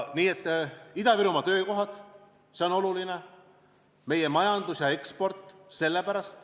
Ida-Virumaa töökohad on olulised, samuti meie majandus ja eksport.